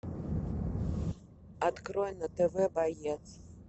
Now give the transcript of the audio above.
открой на тв боец